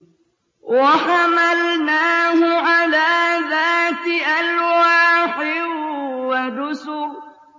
وَحَمَلْنَاهُ عَلَىٰ ذَاتِ أَلْوَاحٍ وَدُسُرٍ